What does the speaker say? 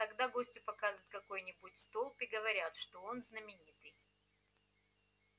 тогда гостю показывают какой нибудь столб и говорят что он знаменитый